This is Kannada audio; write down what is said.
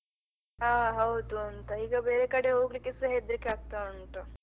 ಹಾ ಹೌದು ಅಂತ ಈಗ ಬೇರೆ ಕಡೆ ಹೋಗ್ಲಿಕೆ ಸಹ ಹೆದ್ರಿಕೆ ಆಗ್ತಾ ಉಂಟು.